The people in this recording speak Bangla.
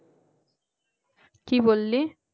কি বললি